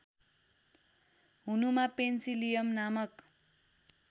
हुनुमा पेन्सिलियम नामक